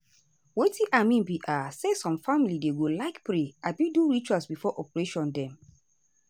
wetin i mean be um say some family dem go like pray abi do ritual before operation dem.